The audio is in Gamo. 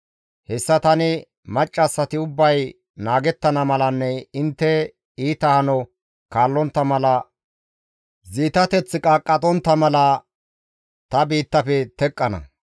Hessa tani maccassati ubbay naagettana malanne intte iita hano kaallontta mala ziitateththa qaaqqe ooththontta mala ta biittafe teqqana.